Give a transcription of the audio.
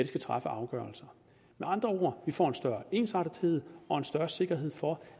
skal træffe af afgørelser med andre ord vi får en større ensartethed og en større sikkerhed for